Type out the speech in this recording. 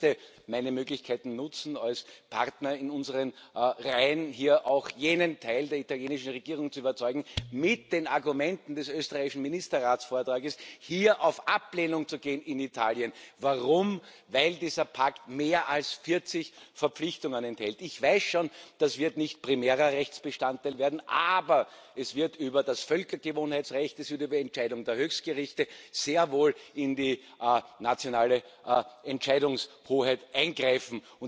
Ich möchte meine Möglichkeiten nutzen, als Partner in unseren Reihen hier auch jenen Teil der italienischen Regierung zu überzeugen mit den Argumenten des österreichischen Ministerratsvortrages, hier auf Ablehnung zu gehen in Italien. Warum? Weil dieser Pakt mehr als 40 Verpflichtungen enthält. Ich weiß schon, das wird nicht primärer Rechtsbestandteil werden, aber es wird über das Völkergewohnheitsrecht, es wird über Entscheidungen der Höchstgerichte sehr wohl in die nationale Entscheidungshoheit eingreifen.